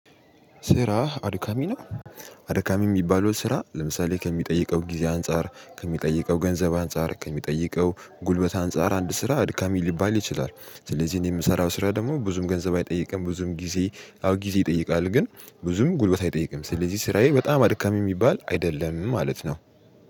ስራህ አድካሚ ነው። አድካሚ የሚባለው ስራ ለምሳሌ ከሚጠይቀው ጊዜ አንፃር ከሚጠይቀው ገንዘብ አንፃር ከሚጠይቀው ጉልበት አንፃር አንድ ስራ አድካሚ ሊባል ይችላል። ስለዚህ እኔ የምሰራው ስራ ደግሞ ብዙም ገንዘብ አይጠይቅም ብዙም ጊዜ አዎ ጊዜ ይጠይቃል ግን ብዙም ጉልበት አይጠይቅም ስለዚህ ስራዬ በጣም አድካሚ የሚባል አይደለም ማለት ነው።